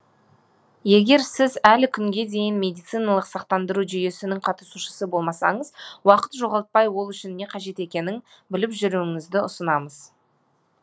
егер сіз әлі күнге дейін медициналық сақтандыру жүйесінің қатысушысы болмасаңыз уақыт жоғалтпай ол үшін не қажет екенін біліп жүруіңізді ұсынамыз